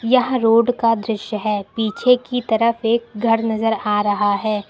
यह रोड का दृश्य है पीछे की तरफ एक घर नजर आ रहा है।